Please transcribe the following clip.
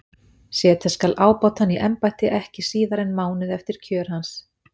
Setja skal ábótann í embætti ekki síðar en mánuði eftir kjör hans.